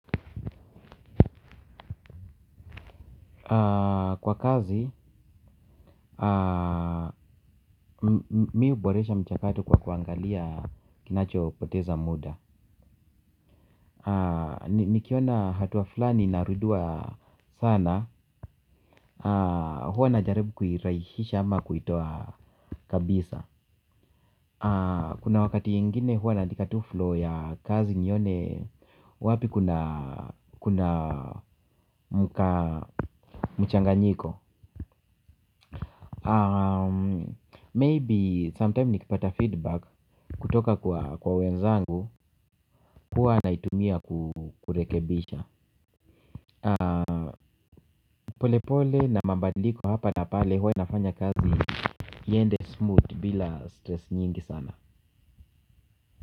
Kwa kazi, mimi huboresha mchakato kwa kuangalia kinacho poteza muda. Nikiona hatua fulani inarudiwa sana. Huwa najaribu kuirahisisha ama kuitoa kabisa. Kuna wakati mwingine huwa naandika tu flow ya kazi nione wapi kuna mchanganyiko Maybe sometime nikipata feedback kutoka kwa wenzangu huwa naitumia kurekebisha. Polepole na mabadiliko hapa na pale huwa inafanya kazi iende smooth bila stress nyingi sana.